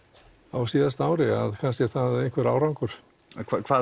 á síðasta ári kannski er það einhver árangur hvað